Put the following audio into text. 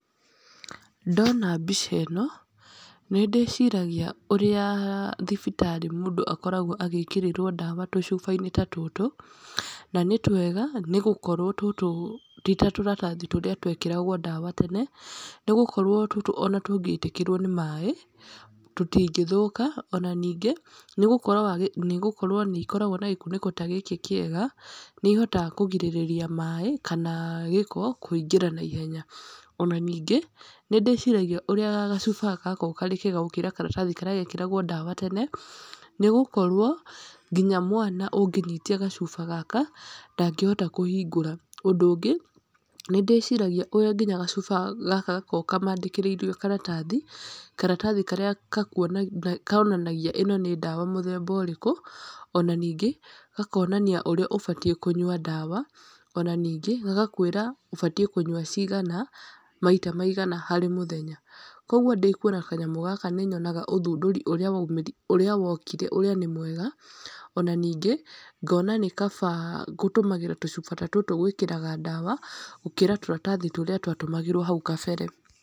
Ndona mbica ĩno, nĩ ndĩciragia ũrĩa thibitarĩ mũndũ akoragwo agĩkĩrĩrwo ndawa tũcuba-inĩ ta tũtũ, na nĩ twega, nĩ gũkorwo tũtũ ti tatũratathi tũrĩa twekĩragwo ndawa tene, nĩ gũkorwo tũtũ ona tũngĩitĩkĩrwo nĩ maĩ tũtingĩthũka, ona ningĩ, nĩgũkorwo nĩgũkorwo nĩ ikoragwo na gĩkunĩko ta gĩkĩ kĩega, nĩ ihotaga kũgirĩrĩria maĩ kana gĩko kũingĩra naihenya, ona ningĩ, nĩndĩciragia ũrĩa gacuba gaka gakoragwo karĩ kega gukĩra karatathi karĩa gekagĩrwo ndawa tene, nĩ gũkorwo nginya mwana ũngĩnyitia gacuba gaka ndagĩhota kũhingũra. Ũndũ ũngĩ, nĩ ndĩciragia ũrĩa nginya gacuba gaka gaka gakoragwo kamandĩkĩrĩirio karatathi, karatathi karĩa gakuonagia konanagia ĩno nĩ ndawa mũtemba ũrĩkũ, ona ningĩ, gakonania ũrĩa ũbatiĩ kũnyua ndawa, ona ningĩ, magakwĩra ũbatiĩ kũnyua cigana, maita maigana harĩ mũthenya. Koguo ndĩkuona kanyamũ gaka nĩ nyonaga ũthundũri ũrĩa waumĩrire, ũrĩa wokire ũrĩa nĩ mwega, ona ningĩ, ngona nĩ kaba gũtũmagĩra tũcuba ta tũtũ gwĩkagĩra ndawa, gũkĩra tũratathi tũrĩa twatũmagĩrwo hau kabere.